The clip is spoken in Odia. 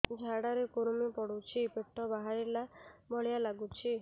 ଝାଡା ରେ କୁର୍ମି ପଡୁଛି ପେଟ ବାହାରିଲା ଭଳିଆ ଲାଗୁଚି